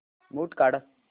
mute काढ